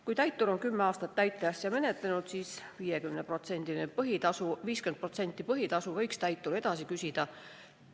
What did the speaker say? Kui täitur on kümme aastat täiteasja menetlenud, siis võiks ta 50% põhitasust edasi küsida.